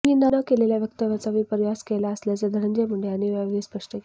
मी न केलेल्या वक्तव्याचा विपर्यास केला असल्याचे धनंजय मुंडे यांनी यावेळी स्पष्ट केले